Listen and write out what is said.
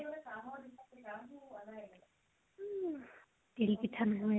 তিল পিঠা নহলে